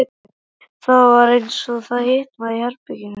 Það var eins og það hitnaði í herberginu.